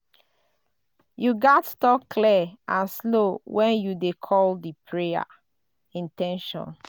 you gats talk clear and slow when you dey call di prayer in ten tion.